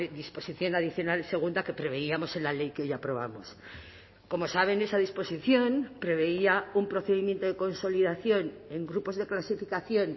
disposición adicional segunda que preveíamos en la ley que hoy aprobamos como saben esa disposición preveía un procedimiento de consolidación en grupos de clasificación